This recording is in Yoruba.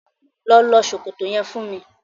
Lọ lọ ṣòkòto yẹn fún mi.